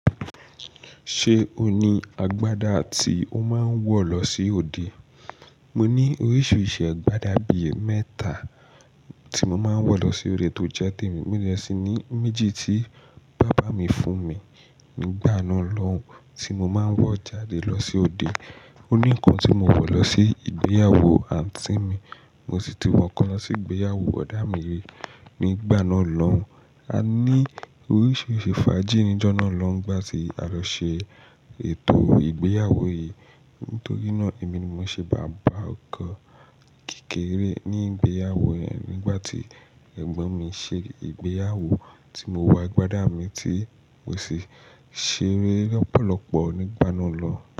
Ṣé o ní agbádá tí o máa ń wọ̀ lọ sí òde? Mo ní oríṣiríṣi agbádá bí i mẹ́ta tí mo máa ń wọ̀ lọ sí orí ètò jẹ́temi. Mọ̀ dẹ̀ sí ní méjì tí bàbá mi fún mi nígbà náà lọ́hùn tí mo máa ń wọ̀ jáde lọ sí òde. Ó ní kan tí mo wọ̀ lọ sí ìgbéyàwó àǹtí mi, mo sì tún wọ̀ kan lọ sí ìgbéyàwó bodà mì rẹ nígbà náà lọ́hùn. A ní oríṣiríṣi fàájì níjọ́ náà lọ́hùn nígbà tí a lọ ṣe ètò ìgbéyàwó yìí. Nítorí náà èmi ni mo ṣe bàbá ọkọ kékeré ní ìgbéyàwó yẹn nígbà tí ẹ̀gbọ́n mi ṣe ìgbéyàwó tí mo wa agbádá mi tí wọ̀ sì ṣeré lọ́pọ̀lọpọ̀ nígbà náà lọ́hùn.